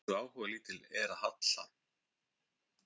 hversu áhugalítil er halla